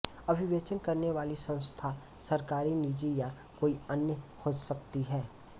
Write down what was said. अभिवेचन करने वाली संस्था सरकरी निजि या कोई अन्य हो सकती है